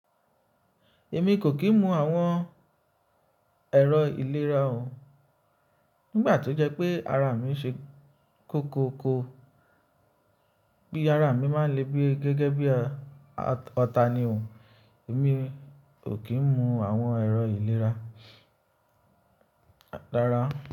Èmi kò kí ń mu àwọn ẹ̀rọ ìlera o. Nígbà tó jẹ́ pé ara mi ṣe kóko ko, pi ara mi má lè gẹ́gẹ́ bí ọta ni o. Èmi kò kí ń mu àwọn ẹ̀rọ ìlera rára.